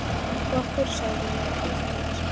Og af hverju sagðirðu mér ekki frá þessu?